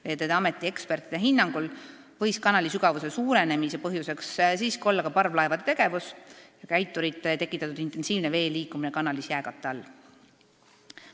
Veeteede Ameti ekspertide hinnangul võis kanali sügavuse suurenemise põhjus olla siiski parvlaevade tegevus ja käiturite tekitatud intensiivne vee liikumine kanalis jääkatte all.